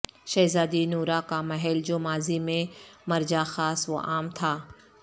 شہزادی نورہ کا محل جو ماضی میں مرجع خاص وعام تھا